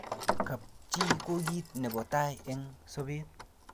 kap chi ko kit nebo tai eng' sabet